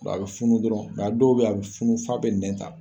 Bɔn a bɛ funu dɔrɔnw, nka a dɔw bɛ yen, a bɛ funun f'a bɛ nɛn ta.